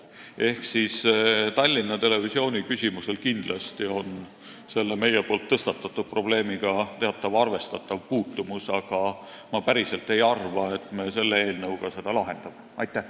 Ehk siis Tallinna Televisiooni küsimusel on kindlasti selle meie tõstatatud teemaga arvestatav puutumus, aga ma ei arva, et me selle eelnõuga seda probleemi päriselt lahendame.